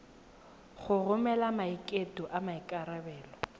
go romela maiteko a maikarebelo